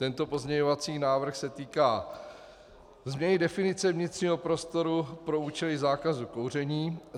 Tento pozměňovací návrh se týká změny definice vnitřního prostoru pro účely zákazu kouření.